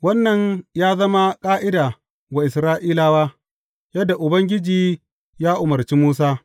Wannan ya zama ƙa’ida wa Isra’ilawa, yadda Ubangiji ya umarci Musa.’